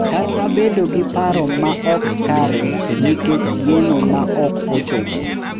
Kata bedo gi paro ma ok kare nikech geno ma ok ochopo.